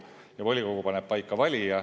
Ja volikogu paneb paika valija.